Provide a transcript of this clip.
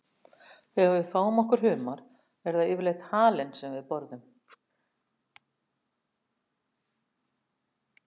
Þegar við fáum okkur humar er það yfirleitt halinn sem við borðum.